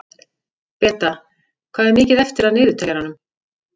Beta, hvað er mikið eftir af niðurteljaranum?